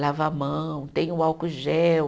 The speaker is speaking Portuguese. Lava a mão, tem o álcool gel.